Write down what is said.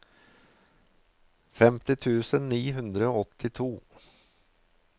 femti tusen ni hundre og åttito